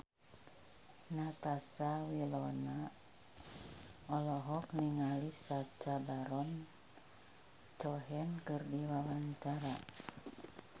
Natasha Wilona olohok ningali Sacha Baron Cohen keur diwawancara